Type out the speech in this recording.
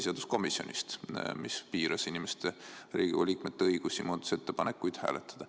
Seegi piiras Riigikogu liikmete õigust muudatusettepanekuid hääletada.